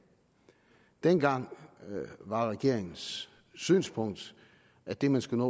dengang var regeringens synspunkt at det man skulle